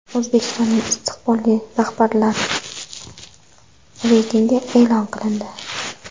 O‘zbekistonning istiqbolli rahbarlari reytingi e’lon qilindi.